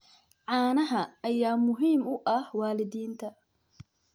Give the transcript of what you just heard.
Caanaha ayaa muhiim u ah waalidiinta.